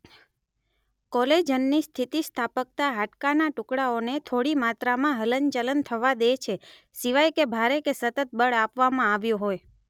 કોલેજનની સ્થિતિસ્થાપકતા હાડકાના ટુકડાઓને થોડી માત્રામાં હલન ચલન થવા દે છે સિવાય કે ભારે કે સતત બળ આપવામાં આવ્યું હોય